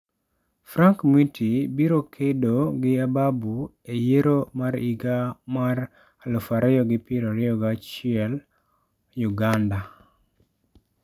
Frank Mwiti biro kedo gi Ababu e yiero mar higa ma 2021 Uganda